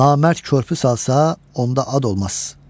Namərd körpü salsa, onda ad olmaz.